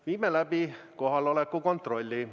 Viime läbi kohaloleku kontrolli.